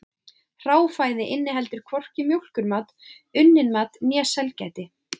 Hráfæði inniheldur hvorki mjólkurmat, unnin mat né sælgæti.